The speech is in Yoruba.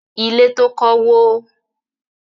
Ilé tó kọ́ wó.